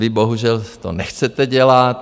Vy bohužel to nechcete dělat.